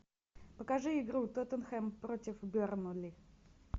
покажи игру тоттенхэм против бернли